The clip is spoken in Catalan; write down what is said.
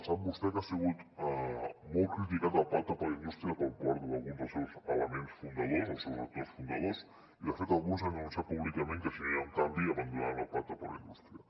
sap vostè que ha sigut molt criticat el pacte per la indústria per part d’alguns dels seus elements fundadors o el seus actors fundadors i de fet alguns han anunciat públicament que si no hi ha un canvi abandonaran el pacte per la indústria